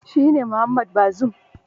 Shi ne Mohamed Bazoum